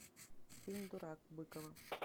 фильм дурак быкова